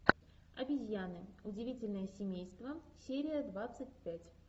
обезьяны удивительное семейство серия двадцать пять